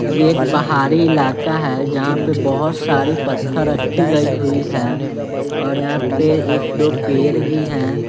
ये एक पहारी इलाका है जहां पे बहोत सारी पत्थर रखी गई हुई है और यहां पे एक दो पेर भी हैं--